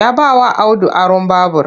Ya bawa Audu aron babur ɗin